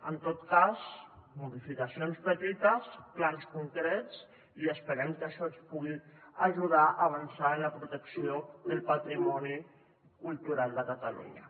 en tot cas modificacions petites plans concrets i esperem que això ens pugui ajudar a avançar en la protecció del patrimoni cultural de catalunya